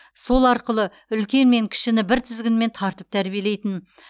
сол арқылы үлкен мен кішіні бір тізгінмен тартып тәрбиелейтін